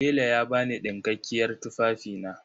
Tela ya ba ni ɗinkakkiyar tufafina.